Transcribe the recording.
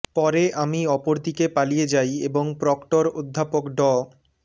পরে আমি অপরদিকে পালিয়ে যাই এবং প্রক্টর অধ্যাপক ড